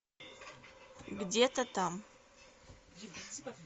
где то там